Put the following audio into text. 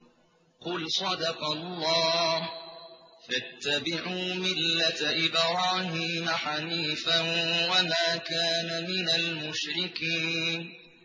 قُلْ صَدَقَ اللَّهُ ۗ فَاتَّبِعُوا مِلَّةَ إِبْرَاهِيمَ حَنِيفًا وَمَا كَانَ مِنَ الْمُشْرِكِينَ